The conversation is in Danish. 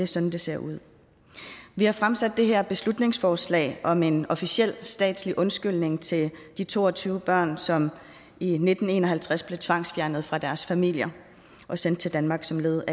sådan det ser ud vi har fremsat det her beslutningsforslag om en officiel statslig undskyldning til de to og tyve børn som i nitten en og halvtreds blev tvangsfjernet fra deres familier og sendt til danmark som led